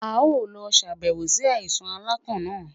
A yoo lọ ṣabẹwo si alaisan alakan naa